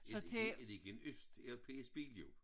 Er det ligner det ikke en Østeuropæisk bil jo?